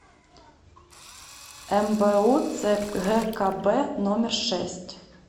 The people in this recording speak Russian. мбу цгкб номер шесть